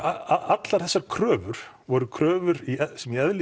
allar þessar kröfur voru kröfur sem í eðli